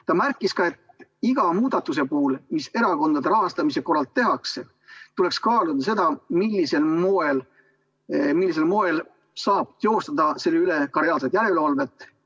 Ta märkis ka seda, et iga muudatuse puhul, mis erakondade rahastamise korral tehakse, tuleks kaaluda seda, millisel moel saab teostada selle üle reaalset järelevalvet.